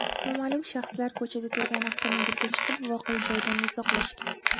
Noma’lum shaxslar ko‘chada turgan avtomobilga chiqib voqea joyidan uzoqlashgan.